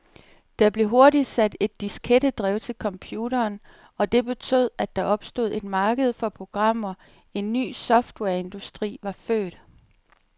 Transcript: Der blev hurtigt sat et diskettedrev til computeren, og det betød, at der opstod et marked for programmer, en ny softwareindustri var født.